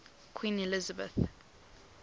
queen elizabeth